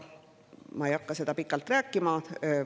Ma ei hakka sellest pikalt rääkima.